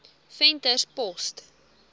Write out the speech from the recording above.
venterspost